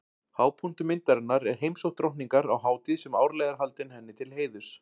Hápunktur myndarinnar er heimsókn drottningar á hátíð sem árlega er haldin henni til heiðurs.